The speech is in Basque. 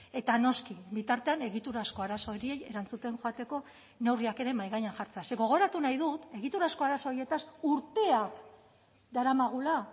eta noski bitartean egiturazko arazo horiei erantzuten joateko neurriak ere mahai gainean jartzea ze gogoratu nahi dut egiturazko arazo horietaz urteak daramagula